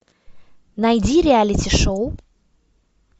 найди реалити шоу